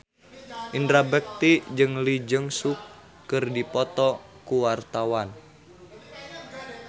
Indra Bekti jeung Lee Jeong Suk keur dipoto ku wartawan